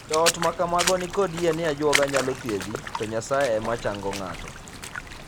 Joot ma kamago ni kod yie ni ajuoga nyalo thiedhi to Nyasaye ema chango ng'ato.